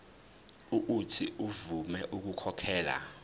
uuthi avume ukukhokhela